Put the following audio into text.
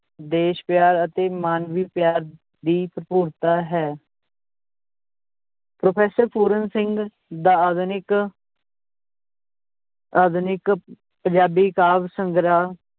ਦੇਸ਼ ਪਿਆਰ ਅਤੇ ਮਾਨਵੀ ਪਿਆਰ ਦੀ ਭਰਪੂਰਤਾ ਹੈ professor ਪੂਰਨ ਸਿੰਘ ਦਾ ਆਧੁਨਿਕ ਆਧੁਨਿਕ ਪੰਜਾਬੀ ਕਾਵ ਸੰਗ੍ਰਹਿ